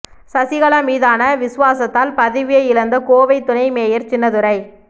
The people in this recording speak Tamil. சசிகலா மீதான விசுவாசத்தால் பதவியை இழந்த கோவை துணை மேயர் சின்னதுரை